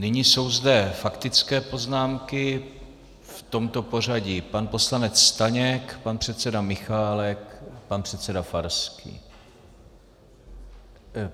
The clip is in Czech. Nyní jsou zde faktické poznámky v tomto pořadí: pan poslanec Staněk, pan předseda Michálek, pan předseda Farský.